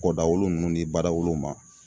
Kɔ dawolo nunnu ni ba dawolow ma.